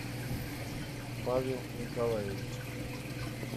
павел николаевич